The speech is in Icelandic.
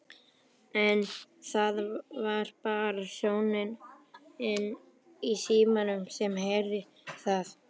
En það var bara sónninn í símanum sem heyrði það.